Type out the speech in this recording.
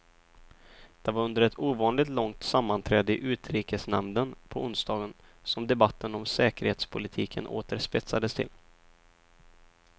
Det var under ett ovanligt långt sammanträde i utrikesnämnden på onsdagen som debatten om säkerhetspolitiken åter spetsades till.